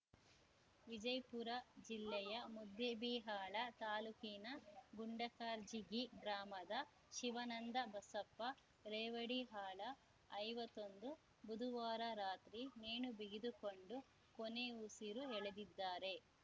ವಿಜಯ್ ಪುರ ಜಿಲ್ಲೆಯ ಮುದ್ದೇಬಿಹಾಳ ತಾಲೂಕಿನ ಗುಂಡಕರ್ಜಗಿ ಗ್ರಾಮದ ಶಿವಾನಂದ ಬಸಪ್ಪ ರೇವಡಿಹಾಳ ಐವತ್ತೊಂದು ಬುದುವಾರ ರಾತ್ರಿ ನೇಣುಬಿಗಿದುಕೊಂಡು ಕೊನೆಯುಸಿರು ಎಳೆದಿದ್ದಾರೆ